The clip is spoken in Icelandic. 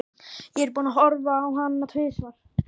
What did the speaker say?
Ég er búinn að horfa á hana tvisvar.